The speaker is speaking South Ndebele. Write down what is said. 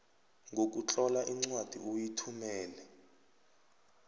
ngokutlola incwadi uyithumele